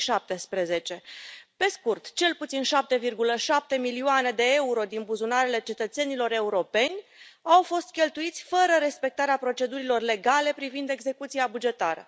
2017. Pe scurt, cel puțin 7,7 milioane de euro din buzunarele cetățenilor europeni au fost cheltuiți fără respectarea procedurilor legale privind execuția bugetară.